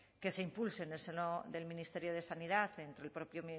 que se impulse en el seno del ministerio de sanidad entre el propio